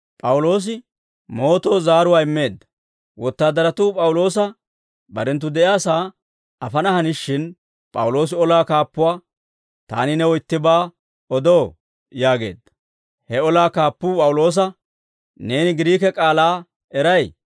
Wotaadaratuu P'awuloosa barenttu de'iyaasaa afana hanishin P'awuloosi olaa kaappuwaa, «Taani new ittibaa odoo?» yaageedda. He olaa kaappuu P'awuloosa, «Neeni Giriike k'aalaa eray?